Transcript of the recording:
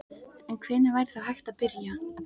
En hvenær væri þá hægt að byrja?